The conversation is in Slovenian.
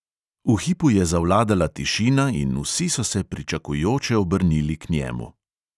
V hipu je zavladala tišina in vsi so se pričakujoče obrnili k njemu.